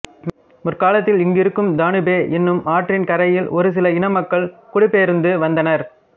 முற்காலத்தில் இங்கிருக்கும் தனுபே எனும் ஆற்றின் கரையில் ஒருசில இன மக்கள் குடிபெயர்ந்து வந்தனர்